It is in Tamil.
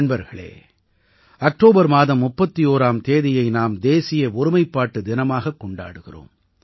நண்பர்களே அக்டோபர் மாதம் 31ஆம் தேதியை நாம் தேசிய ஒருமைப்பாட்டு தினமாகக் கொண்டாடுகிறோம்